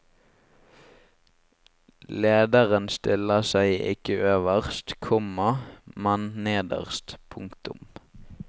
Lederen stiller seg ikke øverst, komma men nederst. punktum